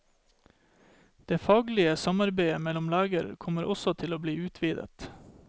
Det faglige samarbeidet mellom leger kommer også til å bli utvidet.